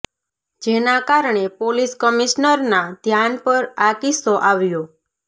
જેના કારણે પોલીસ કમિશનરના ધ્યાન પર આ કિસ્સો આવ્યો